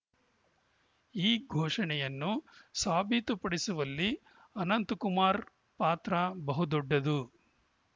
ಈ ಘೋಷಣೆಯನ್ನು ಸಾಬೀತುಪಡಿಸುವಲ್ಲಿ ಅನಂತಕುಮಾರ್‌ ಪಾತ್ರ ಬಹುದೊಡ್ಡದು